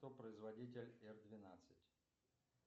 кто производитель р двенадцать